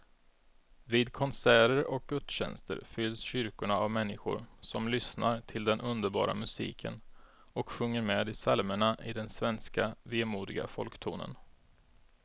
Vid konserter och gudstjänster fylls kyrkorna av människor som lyssnar till den underbara musiken och sjunger med i psalmerna i den svenska vemodiga folktonen.